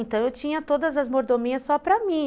Então, eu tinha todas as mordomias só para mim.